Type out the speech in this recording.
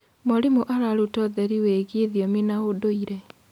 Mwarimũ araruta ũtheri wĩgiĩ thiomi na ũndũire.